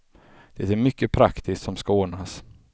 Det är mycket praktiskt som ska ordnas.